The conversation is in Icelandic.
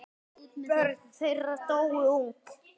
Börn þeirra dóu ung.